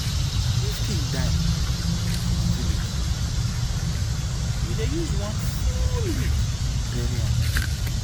if king die for my village we dey use one full week bury am